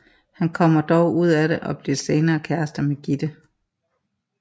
Han kommer dog ud af det og bliver senere kæreste med Gitte